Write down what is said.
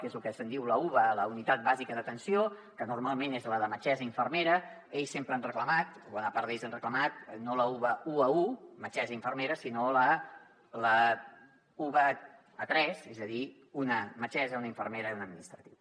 que és lo que se’n diu la uba la unitat bàsica assistencial que normalment és la de metgessa i infermera ells sempre han reclamat o bona part d’ells han reclamat no la uba u a u metgessa i infermera sinó a la uba a tres és a dir una metgessa una infermera i un administratiu